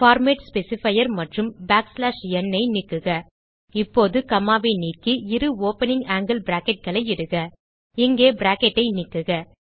format specifier மற்றும் back slash nஐ நீக்குக இப்போது commaஐ நீக்கி இரு ஓப்பனிங் ஆங்கில் bracketகளை இடுக இங்கே பிராக்கெட் ஐ நீக்குக